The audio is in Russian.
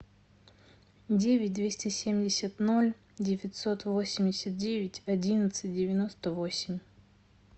девять двести семьдесят ноль девятьсот восемьдесят девять одиннадцать девяносто восемь